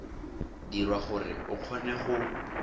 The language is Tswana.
dirwa gore o kgone go